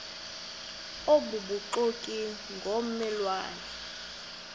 obubuxoki ngomme lwane